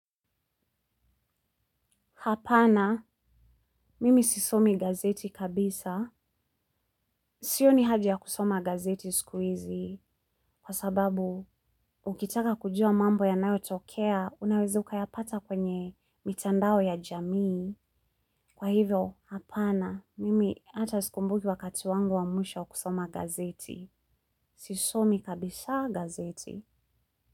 Hapana, mimi sisomi gazeti kabisa. Sioni haja ya kusoma gazeti siku hizi. Kwa sababu, ukitaka kujua mambo yanayotokea, unaweza ukayapata kwenye mitandao ya jamii. Kwa hivyo, hapana, mimi hata sikumbuki wakati wangu wa mwisho kusoma gazeti. Sisomi kabisa gazeti.